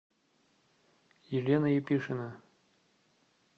елена епишина